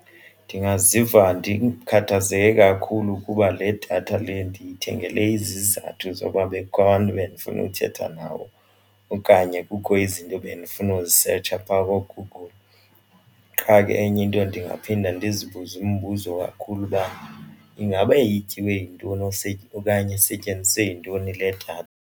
Ndingaziva ndikhathazeke kakhulu kuba le datha le ndiyithengele izizathu zoba bekukho abantu ebendifuna ukuthetha nabo okanye kukho izinto bendifuna ukuzisetsha pha kooGoogle. Qha ke enye into ndingaphinde ndizibuze umbuzo kakhulu uba ingaba ityiwe yintoni okanye esetyenziswe yintoni le datha.